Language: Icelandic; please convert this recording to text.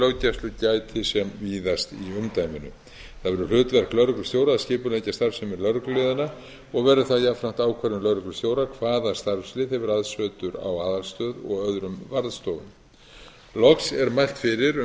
löggæslu gæti sem víðast í umdæminu það verður hlutverk lögreglustjóra að skipuleggja starfsemi lögregluliðanna og verður það jafnframt ákvörðun lögreglustjóra hvaða starfsemi hefur aðsetur á aðalstöð og öðrum varðstofum loks er mælt fyrir um